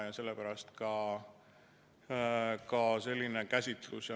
Ja sellepärast ka selline käsitlus.